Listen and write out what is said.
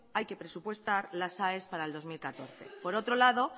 hay que presupuestar las aes para el dos mil catorce por otro lado